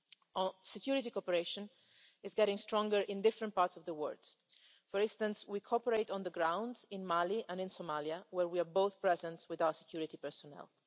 Our security cooperation is getting stronger in various parts of the world. For instance, we cooperate on the ground in Mali and in Somalia, where we are both present with our security personnel.